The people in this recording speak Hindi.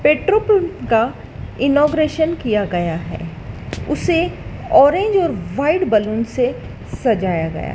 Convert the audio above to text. पेट्रोल पंप का इनॉग्रेशन किया गया है उसे ऑरेंज और व्हाइट बलून से सजाया गया --